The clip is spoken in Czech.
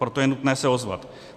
Proto je nutné se ozvat.